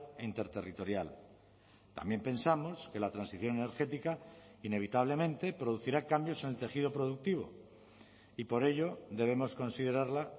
e interterritorial también pensamos que la transición energética inevitablemente producirá cambios en el tejido productivo y por ello debemos considerarla